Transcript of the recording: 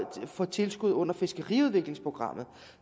få tilskud under fiskeriudviklingsprogrammet